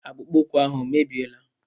Akpụkpọ ụkwụ ahụ o mebiela?